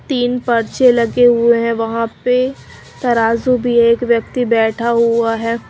तीन पर्चे लगे हुए है वहां पे तराजू भी है एक व्यक्ति बैठा हुआ हैं।